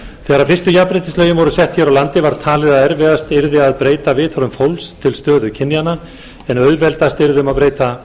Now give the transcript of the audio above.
þegar fyrstu jafnréttislögin voru sett hér á landi var talið að erfiðast yrði að breyta viðhorfum fólks til stöðu kynjanna en auðveldast yrði að breyta